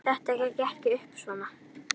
Þetta gekk ekkert upp svona.